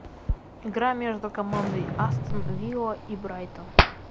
игра между командой астон вилла и брайтон